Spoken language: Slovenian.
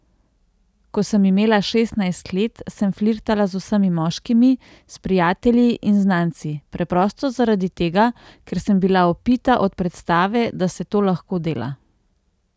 Ko sem imela šestnajst let, sem flirtala z vsemi moškimi, s prijatelji in z znanci, preprosto zaradi tega, ker sem bila opita od predstave, da se to lahko dela.